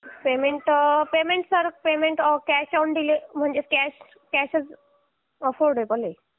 sir payment म्हणजे sir cash available आहे